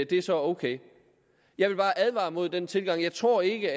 det så er ok jeg vil bare advare imod den tilgang jeg tror ikke